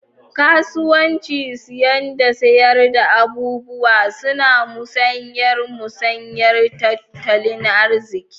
Kasuwanci siyan da sayar da abubuwa, suna musayar musayar tattalin arziki.